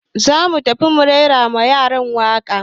Za mu tafi mu raira wa yaran waka